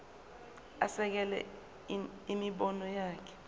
asekele imibono yakhe